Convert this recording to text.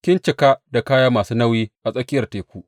Kin cika da kaya masu nauyi a tsakiyar teku.